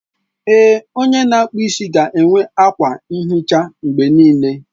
Ee, onye na-akpụ isi ga-enwe akwa nhicha mgbe niile.